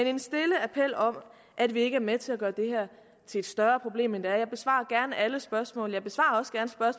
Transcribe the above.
en stille appel om at vi ikke er med til at gøre det her til et større problem end det er jeg besvarer gerne alle spørgsmål